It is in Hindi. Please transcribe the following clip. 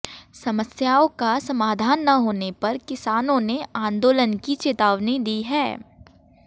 समस्याओं का समाधान न होने पर किसानों ने आंदोलन की चेतावनी दी है